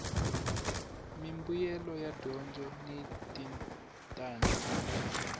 mimbuyelo ya dyondzo ni switandati